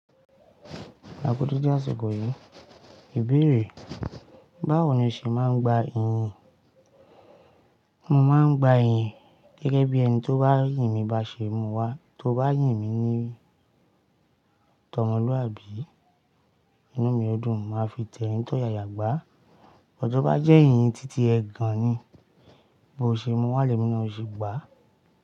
Àku deede àsikò yìí, ìbéèrè, báwo ni o ṣe máa ń gba iyìn? Mo máa ń gba iyìn gẹ́gẹ́ bí ẹni tó bá yìn mi bá ṣe mú wá. Tó bá yìn mi ní t'ọmọlúàbí inú mi ó dún, màá fi tẹrin tóyàyà gbá. Tóbá jẹ́ iyì titi ẹgan ni, b'ò ṣe múwá lẹ́mí náà ò ṣe gbá.